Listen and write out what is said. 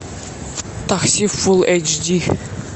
такси фул эйч ди